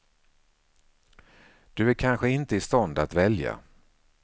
Du är kanske inte i stånd att välja.